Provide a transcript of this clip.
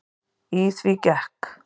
Í því gekk